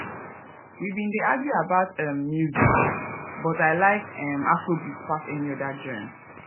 we been dey argue about um music but i like um afrobeats pass any oda genre